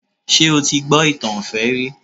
Ṣé o ti gbọ́ ìtàn ìfẹ́ rí?